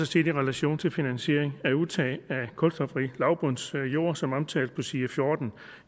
set i relation til finansiering af udtag af kulstofrig lavbundsjord som omtalt på side fjorten